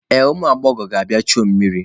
Ee, ụmụ agbọghọ na-abịa ichu mmiri.